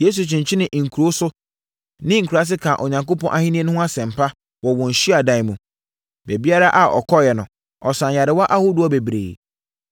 Yesu kyinkyinii nkuro so ne nkuraa ase kaa Onyankopɔn Ahennie no ho asɛmpa wɔ wɔn hyiadan mu. Baabiara a ɔkɔeɛ no, ɔsaa nyarewa ahodoɔ bebree.